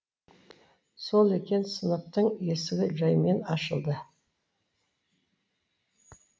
сол екен сыныптың есігі жәймен ашылды